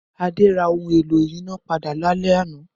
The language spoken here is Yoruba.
Adé ra ohun-èlò ìyínápadà lálẹ́ àná.